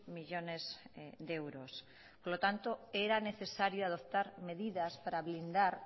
millónes de euros por lo tanto era necesario adoptar medidas para blindar